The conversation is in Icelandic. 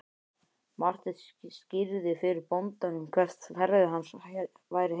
Marteinn skýrði fyrir bóndanum hvert ferð hans væri heitið.